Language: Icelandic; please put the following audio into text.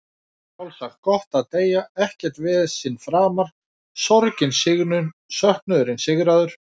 Sjálfsagt gott að deyja, ekkert vesen framar, sorgin sigruð, söknuðurinn sigraður.